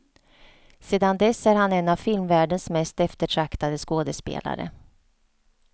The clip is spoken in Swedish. Sedan dess är han en av filmvärldens mest eftertraktade skådespelare.